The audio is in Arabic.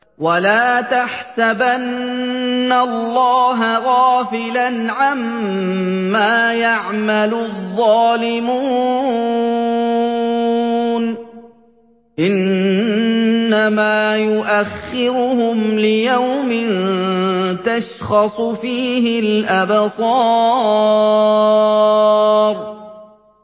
وَلَا تَحْسَبَنَّ اللَّهَ غَافِلًا عَمَّا يَعْمَلُ الظَّالِمُونَ ۚ إِنَّمَا يُؤَخِّرُهُمْ لِيَوْمٍ تَشْخَصُ فِيهِ الْأَبْصَارُ